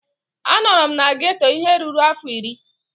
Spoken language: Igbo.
Anọrọ m na geeto ihe ruru afọ iri